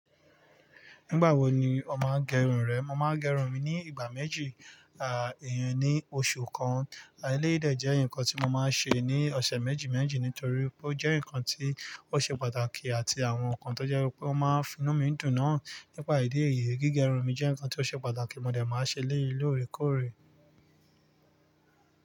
Nígbà wo ni o máa ń gẹrun rẹ? Mo máa ń gẹrun mi ní ìgbà méjì, à yen ni oṣù kan. A eleyi de je nǹkan tí mo máa ń ṣe ní ọ̀sẹ̀ méjì méjì nítorí pe ó jẹ́ nǹkan tí ó ṣe pàtàkì àti àwọn nǹkan tó jẹ́ pé ó máa ń finú mi dùn náà. Nípa ìdí èyí, gígẹrun mi jẹ́ nǹkan tí ó ṣe pàtàkì mo dẹ̀ máa ṣe é lórèkórè.